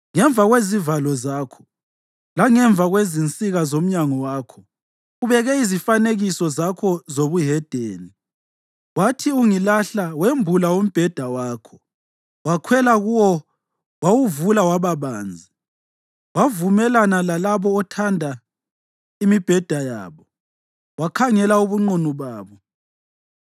Ngemva kwezivalo zakho langemva kwezinsika zomnyango wakho ubeke izifanekiso zakho zobuhedeni. Wathi ungilahla wembula umbheda wakho, wakhwela kuwo wawuvula waba banzi, wavumelana lalabo othanda imibheda yabo, wakhangela ubunqunu babo.